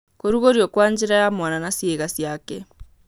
Kũrugũrio kwa njĩra ya mwana na ciĩga ciake.